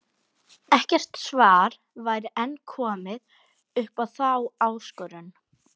Ekkert svar væri enn komið upp á þá áskorun.